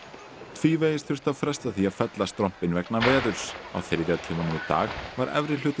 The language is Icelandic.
tvívegis þurfti að fresta því að fella strompinn vegna veðurs á þriðja tímanum í dag var efri hluti